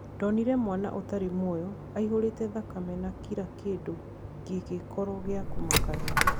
"Ndonire mwana ũtari mwoyo, aihũrite thakame na kira kindũ gigikoro gia kumakania."